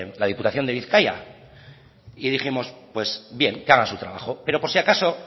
la diputación de bizkaia y dijimos pues bien que hagan su trabajo pero por si acaso